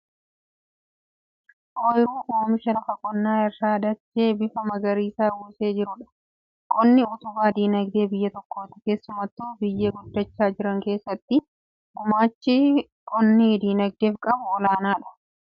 Ooyiruu oomisha lafa qonnaa irraa dachee bifa magariisa uwwisee jirudha. Qonni utubaa dinagdee biyya tokkooti. Keessumattuu biyyoota guddaachaa jiran keessatti gumaachi qonni dinagdeef qabu olaanaadha. Yeroo jalqabaaf lafa qotanii callaa galfachuun bara kam eegale?